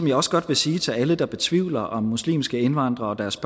jeg også godt sige til alle der betvivler at muslimske indvandrere og deres